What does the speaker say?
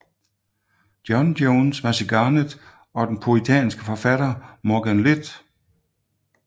John Jones Maesygarnedd og den puritanske forfatter Morgan Llwyd